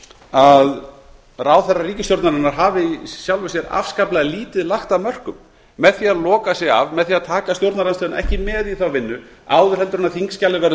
að ráðherrar ríkisstjórnarinnar hafi í sjálfu sér afskaplega lítið lagt af mörkum með því að loka sig af með því að taka stjórnarandstöðuna ekki með í þá vinnu áður en þingskjalið verður